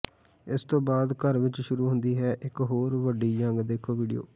ਇਸ ਤੋਂ ਬਾਦ ਘਰ ਵਿਚ ਸ਼ੁਰੂ ਹੁੰਦੀ ਹੈ ਇਕ ਹੋਰ ਵੱਡੀ ਜੰਗ ਦੇਖੋ ਵੀਡੀਓ